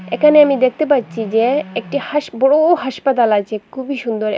এখানে আমি দেখতে পাচ্ছি যে একটি হাস বড় হাসপাতাল আছে খুবই সুন্দর এবং--